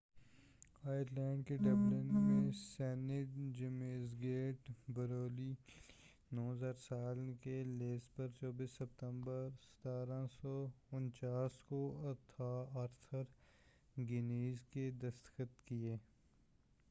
Ireland کے Dublin میں saint James gate brewery کیلئے 9،000 سال کے لیز پر 24 ستمبر 1759 کو آرتھر گنیس نے دستخط کیے۔